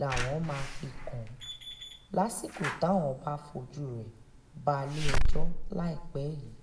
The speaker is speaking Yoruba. làwọn máa fi kàn án lásìkò táwọn bá fojú rẹ̀ balẹ̀-ẹjọ́ láìpẹ́ yìí